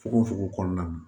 Fogo fogo kɔnɔna na